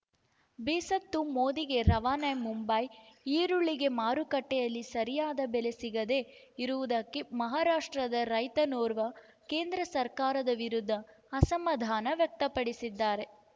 ಬೇಸತ್ತು ಮೋದಿಗೆ ರವಾನೆ ಮುಂಬೈ ಈರುಳ್ಳಿಗೆ ಮಾರುಕಟ್ಟೆಯಲ್ಲಿ ಸರಿಯಾದ ಬೆಲೆ ಸಿಗದೇ ಇರುವುದಕ್ಕೆ ಮಹಾರಾಷ್ಟ್ರದ ರೈತನೋರ್ವ ಕೇಂದ್ರ ಸರ್ಕಾರದ ವಿರುದ್ಧ ಅಸಮಾಧಾನ ವ್ಯಕ್ತಪಡಿಸಿದ್ದಾರೆ